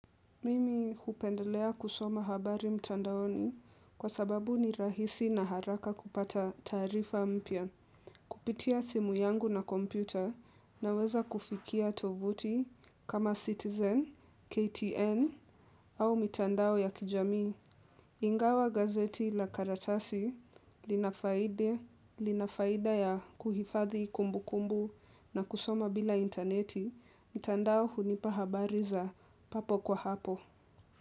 Mimi hupendelea kusoma habari mtandaoni kwa sababu ni rahisi na haraka kupata taarifa mpya. Kupitia simu yangu na kompyuta na weza kufikia tovuti kama Citizen, KTN au mitandao ya kijami. Ingawa gazeti la karatasi linafaida ya kuhifadhi kumbukumbu na kusoma bila interneti mtandao hunipa habari za papo kwa hapo.